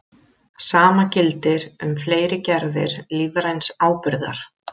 Sama gildir um fleiri gerðir lífræns áburðar.